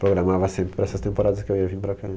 Programava sempre para essas temporadas que eu ia vim para cá.